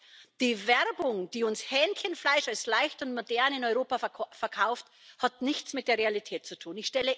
Das heißt, die Werbung, die uns Hähnchenfleisch als leicht und modern in Europa verkauft, hat nichts mit der Realität zu tun.